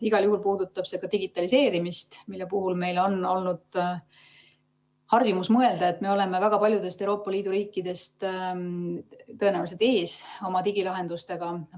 Igal juhul puudutab see ka digitaliseerimist, mille puhul meil on olnud harjumus mõelda, et me oleme väga paljudest Euroopa Liidu riikidest oma digilahendustega ees.